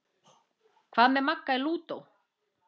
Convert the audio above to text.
Hvað með Magga lúdó?